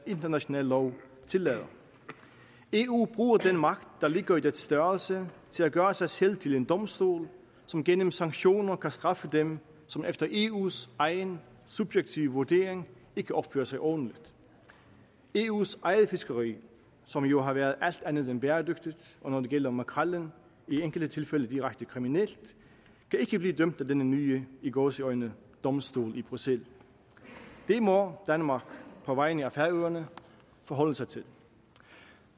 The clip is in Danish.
international lov tillader eu bruger den magt der ligger i dens størrelse til at gøre sig selv til en domstol som gennem sanktioner kan straffe dem som efter eus egen subjektive vurdering ikke opfører sig ordentligt eus eget fiskeri som jo har været alt andet end bæredygtigt og når det gælder makrellen i enkelte tilfælde direkte kriminelt kan ikke blive dømt af denne nye i gåseøjne domstol i bruxelles det må danmark på vegne af færøerne forholde sig til